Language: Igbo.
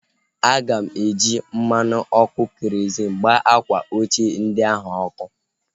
Aga m eji mmanụ ọkụ kerozịn gbaa akwa ochie ndị ahụ ọkụ